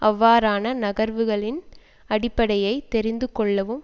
அவ்வாறான நகர்வுகளின் அடிப்படையை தெரிந்து கொள்ளவும்